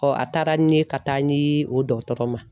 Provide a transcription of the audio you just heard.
Ɔ a taara ni n ye ka taa n di o dɔgɔtɔrɔ ma